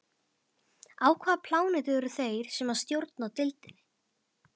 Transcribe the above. Á hvaða plánetu eru þeir sem stjórna deildinni?